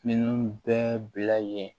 Minnu bɛɛ bila yen